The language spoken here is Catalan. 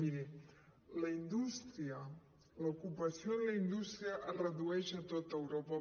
miri la indústria l’ocupació de la indústria es redueix a tot europa